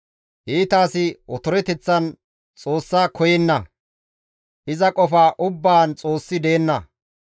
Iita asi otoreteththan Xoossa koyenna; iza qofa ubbaan Xoossi deenna.